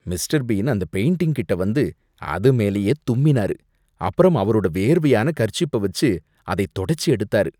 Mister Bean அந்த painting கிட்ட வந்து அதுமேலயே தும்மினாரு. அப்புறம் அவரோட வேர்வையான கர்ச்சீப்ப வச்சு அதை தொடச்சி எடுத்தாரு.